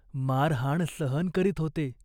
मारहाण सहन करीत होते.